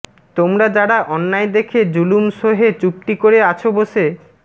তোমরা যারা অন্যায় দেখে জুলুম সহে চুপটি করে আছো বসে